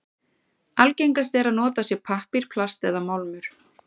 Algengast er að notað sé pappír, plast eða málmur.